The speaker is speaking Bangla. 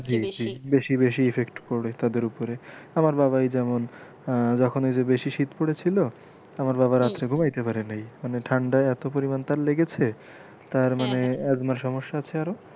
জি জি বেশি বেশি effect পরে তাদের ওপরে আমার বাবাই যেমন আহ যখন এই যে বেশি শীত পড়েছিলো আমার বাবা রাত্রে ঘুমাইতে পারে নাই মানে ঠাণ্ডা তার এতো পরিমান তার লেগেছে তার মানে asthama র সমস্যা আছে আরও,